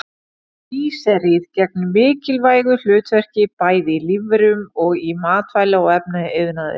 Glýseríð gegnir mikilvægu hlutverki bæði í lífverum og í matvæla- og efnaiðnaði.